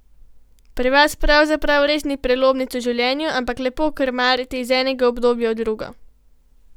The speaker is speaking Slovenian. Pri vas pravzaprav res ni prelomnic v življenju, ampak lepo krmarite iz enega obdobja v drugo.